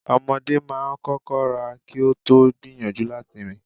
Ọmọdé máa ń kọ́kọ́ rá kí ó tó gbìyànjú láti rìn.